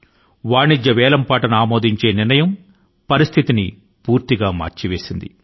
వాణిజ్య సరళి వేలంపాట పద్ధతి ని అనుమతించాలన్న నిర్ణయం ఈ స్థితి ని సమూలం గా మార్చివేసింది